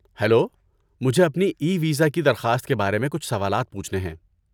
hello, مجھے اپنے e visa کی درخواست کے بارے میں کچھ سوالات پوچھنے ہیں